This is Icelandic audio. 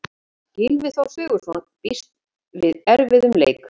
Gylfi Þór Sigurðsson býst við erfiðum leik.